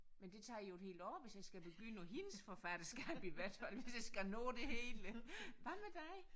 Men det tager jo et helt år hvis jeg skal begynde på hendes forfatterskab i hvert fald hvis jeg skal nå det hele. Hvad med dig?